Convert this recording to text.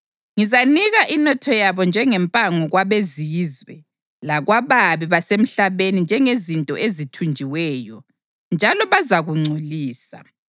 Ngizanika inotho yabo njengempango kwabezizwe lakwababi basemhlabeni njengezinto ezithunjiweyo, njalo bazakungcolisa.